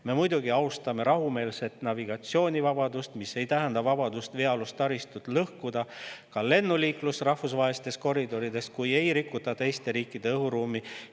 Me muidugi austame rahumeelset navigatsioonivabadust, mis ei tähenda vabadust veealust taristut lõhkuda, ja ka lennuliiklust rahvusvahelistes koridorides, kui ei rikuta teiste riikide õhuruumi.